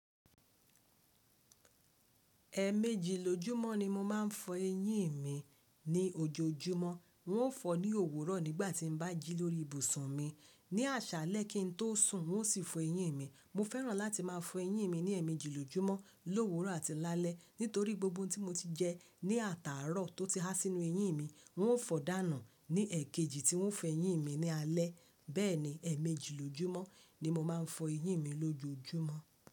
Ẹ̀méjì lójúmọ́ ni mo máa ń fọ eyín mi ní ojoojúmọ́. Un ó fọ ní òwúrọ̀ nígbà tí mo bá jí lórí ibùsùn mi. Ní àṣálẹ̀ kin tó sùn, wọ́n ó sì fọ eyín mi. Mo fẹ́ràn láti máa fọ eyín mi ní ẹ́ẹ̀mẹjìlójúmọ́, lówuro àti lálẹ́, nítorí gbogbo ohun tí mo ti jẹ ní àtàárọ̀ tó ti há sínú eyín mi, un ó fọ̀ọ́ dànù ní èkejì tí un fọ eyín mi ní alẹ́. Bẹ́ẹ̀ni, ẹ̀ẹ̀mẹjìlójúmọ́ ni mo máa ń fọ eyín mi lójoojúmọ́.